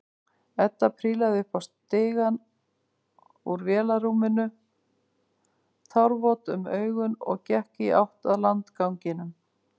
Edda prílaði upp stigann úr vélarrúminu, tárvot um augun og gekk í átt að landganginum.